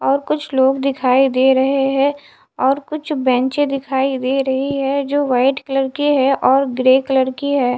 और कुछ लोग दिखाई दे रहे हैं और कुछ बेंचें दिखाई दे रही है जो वाइट कलर की है और ग्रे कलर की है।